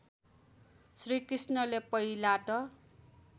श्रीकृष्णले पहिला त